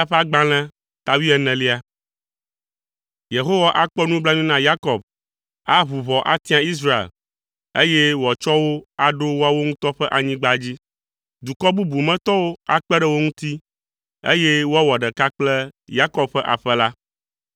Yehowa akpɔ nublanui na Yakob, aʋu ʋɔ atia Israel, eye wòatsɔ wo aɖo woawo ŋutɔ ƒe anyigba dzi. Dukɔ bubu me tɔwo akpe ɖe wo ŋuti, eye woawɔ ɖeka kple Yakob ƒe aƒe la.